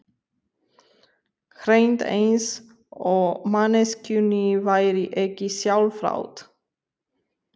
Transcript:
Hreint eins og manneskjunni væri ekki sjálfrátt.